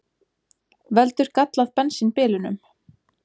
Veldur gallað bensín bilunum